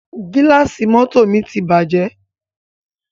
Gílàsì mọ́tọ̀ mi ti bàjẹ́.